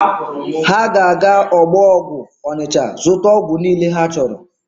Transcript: Ha ga-aga ọgbọ ọgwụ Ọnịcha zụta ọgwụ niile ha chọrọ.